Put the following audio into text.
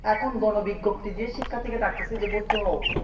এখন গণবিজ্ঞপ্তি দিয়ে শিক্ষার্থীকে ডাকতেছে যে ভর্তি হও